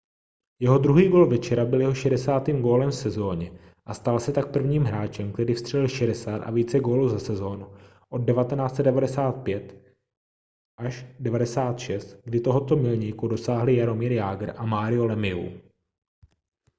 jeho druhý gól večera byl jeho 60. gólem v sezóně a stal se tak prvním hráčem který vstřelil 60 a více gólů za sezónu od 1995-96 kdy tohoto milníku dosáhli jaromír jágr a mario lemieux